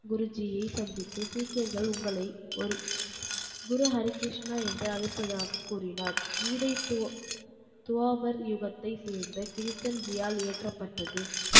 குருஜியை சந்தித்து சீக்கியர்கள் உங்களை ஒரு குரு ஹரிகிருஷ்ணா என்று அழைப்பதாக கூறினார். கீதை துவாபர் யுகத்தைச் சேர்ந்த கிருஷ்யன் ஜியால் இயற்றப்பட்டது.